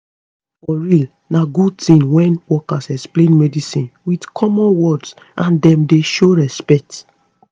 for real na good tin wen workers explain medicine with common words and dem dey show respect